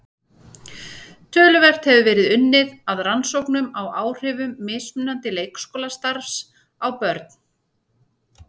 Töluvert hefur verið unnið að rannsóknum á áhrifum mismunandi leikskólastarfs á börn.